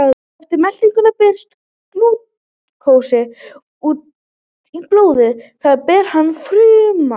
Eftir meltingu berst glúkósi út í blóðrásina sem ber hann til frumna.